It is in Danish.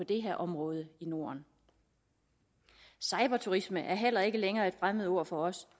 det her område i norden cyberturisme er heller ikke længere et fremmedord for os